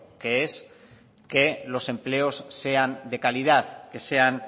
que es que los empleos sean de calidad que sean